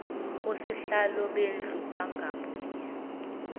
osihlalo bendlu bangabuye